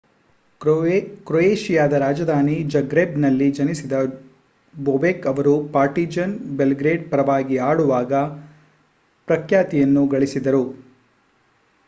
ಕ್ರೊಯೇಷಿಯಾದ ರಾಜಧಾನಿ ಜಗ್ರೆಬ್‌ನಲ್ಲಿ ಜನಿಸಿದ ಬೊಬೆಕ್ ರವರು ಪಾರ್ಟಿಜಾನ್ ಬೆಲ್‌ಗ್ರೇಡ್ ಪರವಾಗಿ ಆಡುವಾಗ ಪ್ರಖ್ಯಾತಿಯನ್ನು ಗಳಿಸಿದರು